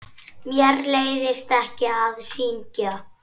Mér leiðist ekki að syngja.